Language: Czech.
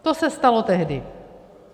To se stalo tehdy.